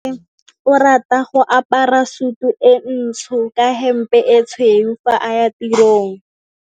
Onkabetse o rata go apara sutu e ntsho ka hempe e tshweu fa a ya tirong.